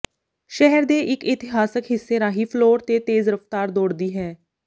ਸ਼ਹਿਰ ਦੇ ਇਕ ਇਤਿਹਾਸਕ ਹਿੱਸੇ ਰਾਹੀਂ ਫਲੋਰ ਤੇ ਤੇਜ਼ ਰਫਤਾਰ ਦੌੜਦੀ ਹੈ